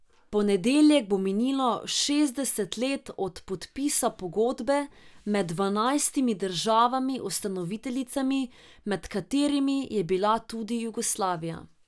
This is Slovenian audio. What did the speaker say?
V ponedeljek bo minilo šestdeset let od podpisa pogodbe med dvanajstimi državami ustanoviteljicami, med katerimi je bila tudi Jugoslavija.